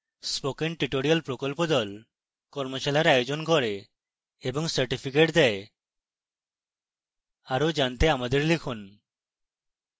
spoken tutorial প্রকল্প the কর্মশালার আয়োজন করে এবং certificates দেয় আরো জানতে আমাদের লিখুন